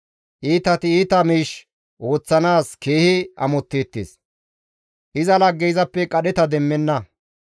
Iitati iita miish ooththanaas keehi amotteettes. Iza laggey izappe qadheta demmenna.